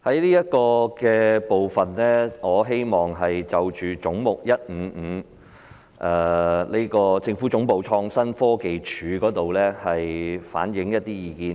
在這個部分，我希望就着"總目 155― 政府總部：創新科技署"反映一些意見。